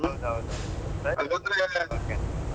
ಹೌದು ಹೌದು